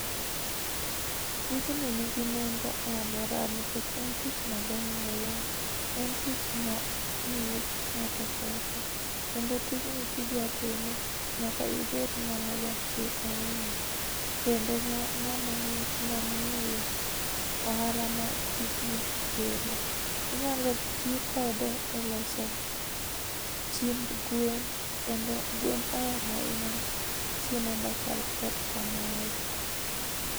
Tijni nigi nengo e aluora nikech en tich mabe ahinya, en tich ma miyo ngato pesa kendo tijni kidwa time nyaka ibed ngama ja chir ahinya kendo ngama ongeyo ohala ma tijni kelo. Inyalo tii kode e loso chiemb gwen kendo gwen ohero ahinya chiemo machal kod kamae